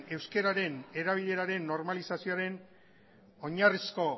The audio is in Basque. euskararen erabileraren normalizazioaren oinarrizko